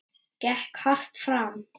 Gekk hart fram.